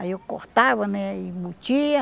Aí eu cortava, né embutia.